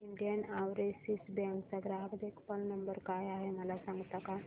Indian Overseas bank चा ग्राहक देखभाल नंबर काय आहे मला सांगता का